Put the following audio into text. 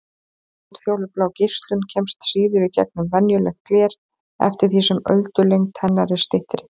Útfjólublá geislun kemst síður í gegnum venjulegt gler eftir því sem öldulengd hennar er styttri.